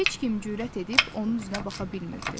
Heç kim cürət edib onun üzünə baxa bilmirdi.